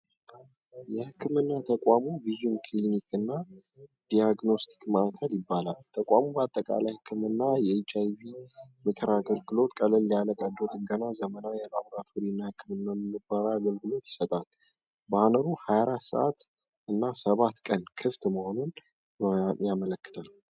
የሕክምና ተቋሙ ቪዥን ክሊኒክ እና ዳያግኖስቲክ ማእከል ይባላል። ተቋሙ አጠቃላይ ሕክምና፣ የኤች አይ ቪ የምክር አገልግሎት፣ ቀለል ያለ ቀዶ ጥገና፣ ዘመናዊ የላብራቶሪ እና የሕክምና ምርመራ አገልግሎቶች ይሰጣል። ባነሩ 24 ሰዓትና 7 ቀን ክፍት መሆኑን ነው።